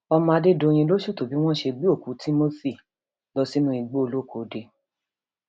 ọmọ adédọyìn ló ṣètò bí wọn ṣe gbé òkú timothy lọ sínú igbóolókode